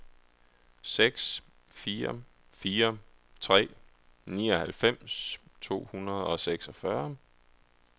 seks fire fire tre nioghalvfems to hundrede og seksogfyrre